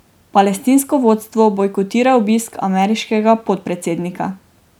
Palestinsko vodstvo bojkotira obisk ameriškega podpredsednika.